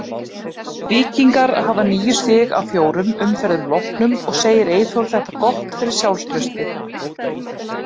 Víkingar hafa níu stig af fjórum umferðum loknum og segir Eyþór þetta gott fyrir sjálfstraustið.